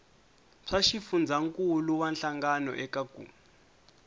swa xifundzankuluwa hlangano eka ku